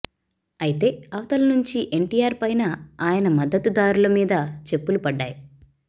అయితే అవతల నుంచి ఎన్టీఆర్ పైనా ఆయన మద్దతు దారుల మీద చెప్పులు పడ్డాయి